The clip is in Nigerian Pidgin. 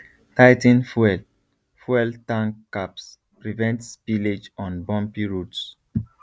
tigh ten fuel fuel tank caps prevent spillage on bumpy roads